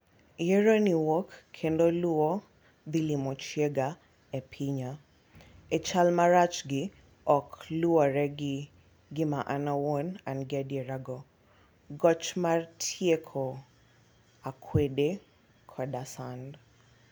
Yiero ni wuok kendo luwo nilimo chiega e pinya e chal marach gi oko luwore gi gima an awuon an gi adier go- goch mar tieko akwede, koda sand